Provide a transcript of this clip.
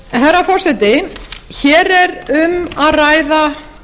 herra forseti hér er um að ræða